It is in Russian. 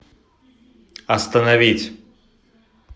остановить